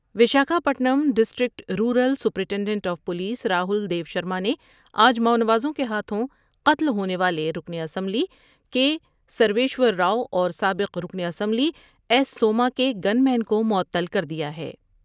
Vishakha پٹم district rural superintendent of police Rahul دیوشر مانے آج ماونوازوں کے ہاتھوں قتل ہونے والے رکن اسمبلی کے سرویشور راؤ اور سابق رکن اسمبلی ایس سوما کے گن مین کو معطل کر دیا ۔